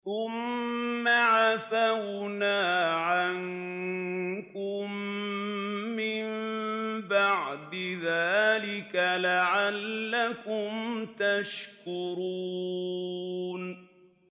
ثُمَّ عَفَوْنَا عَنكُم مِّن بَعْدِ ذَٰلِكَ لَعَلَّكُمْ تَشْكُرُونَ